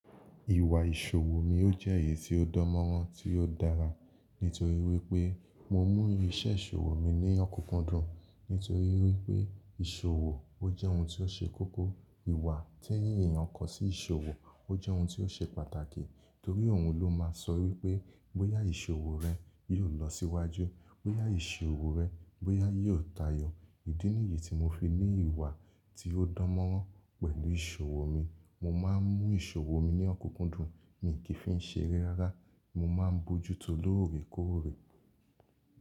Ìwà ìṣòwò mi ó jẹ́ èyí tí ó dán mọ́rán tí ó dára. Nítorí wípé mo mú iṣẹ́ ìṣòwò mi ní ọkunkundun. Nítorí wípé ìṣòwò ó jẹ́ oun tí ó ṣe kókó ìwà tí ẹnì èèyàn kọ́ sí ìṣòwò. Ó jẹ́ oun tí ó ṣe pàtàkì torí oun ló máa ń sọ wípé bóyá ìṣòwò rẹ yóò lọ síwájú, bóyá ìṣòwò rẹ, bóyá yóò tayọ̀. Ídínìyì tí mo fi ní ìwà tí ó dán mọ́rán pẹ̀lú ìṣòwò mi, mo máa ń mú ìṣòwò mi ní ọkunkundun, mi kì í fi ṣe erẹ́ rárá. Mo máa ń bójútó lóòrèkóòrè.